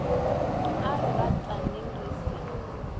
a re rataneng re se